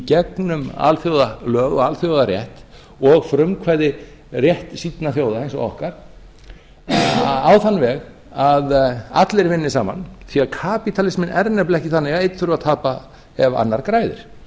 gegnum alþjóðalög og alþjóðarétt og frumkvæði réttsýnna þjóða eins og okkar á þann veg að allir vinni saman því kapitalismen er nefnilega ekki þannig að einn þurfi eða tapa ef annar græðir